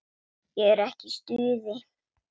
Ég er ekki í stuði.